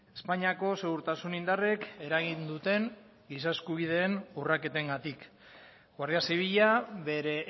espainiako segurtasun indarrek eragin duten giza eskubideen urraketengatik guardia zibila bere